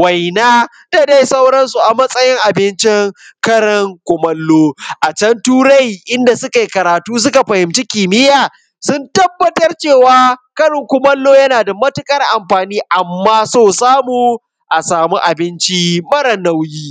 waina, da dai sauransu a matsayin abincin karin kumallo. A can turai inda sukai karatu suka fahimci kimiya, sun tabbatar cewa karin kumallo yana da matuƙar amfani, amma so samu asa mu abinci mare nauyi.